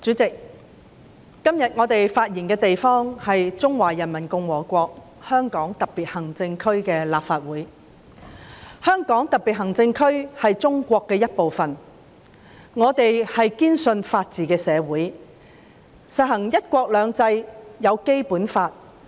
主席，今天我們發言的地方是中華人民共和國香港特別行政區的立法會，香港特別行政區是中國的一部分，我們是堅信法治的社會，實行"一國兩制"，制定了《基本法》。